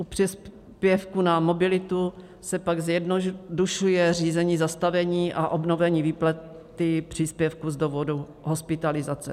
U příspěvku na mobilitu se pak zjednodušuje řízení zastavení a obnovení výplaty příspěvku z důvodu hospitalizace.